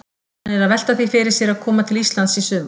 Hann er að velta því fyrir sér að koma til Íslands í sumar.